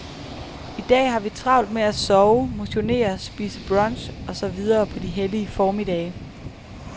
I dag har vi travlt med at sove, motionere, spise brunch og så videre på de hellige formiddage.